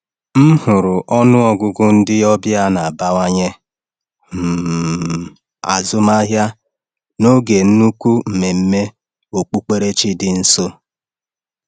M hụrụ ọnụ ọgụgụ ndị ọbịa na-abawanye um azụmahịa n’oge nnukwu mmemme okpukperechi dị nso.